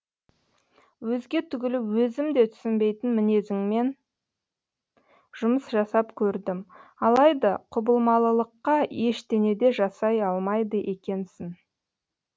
өзге түгілі өзім де түсінбейтін міңезіммен жұмыс жасап көрдім алайда құбылмалылыққа ештене де жасай алмайды екенсін